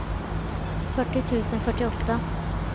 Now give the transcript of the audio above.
fyrtio tusen fyrtioåtta